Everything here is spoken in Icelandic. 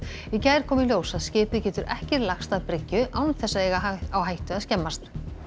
í gær kom í ljós að skipið getur ekki lagst að bryggju án þess að eiga á hættu að skemmast